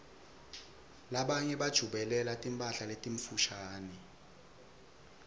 labanye bajabulela timphala letimfushane